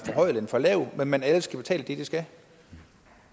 for lav men alle skal betale det de skal